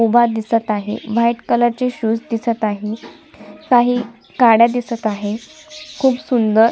उभा दिसत आहे व्हाईट कलर चे शूज दिसत आहेत काही गाड्या दिसत आहेत खूप सुंदर--